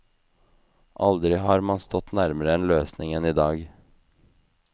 Aldri har man stått nærmere en løsning enn i dag.